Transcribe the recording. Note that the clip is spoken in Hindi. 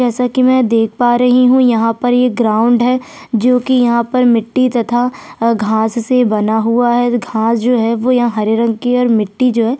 जैसा की मैं देख पा रही हु यहाँ पर ये ग्राउंड है जो की यहाँ पर मिट्टी तथा घाँस से बना हुआ है घाँस जो हैं यहाँ हरे रंग की और मिट्टी जो है।